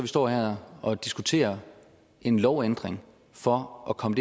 står her og diskuterer en lovændring for at komme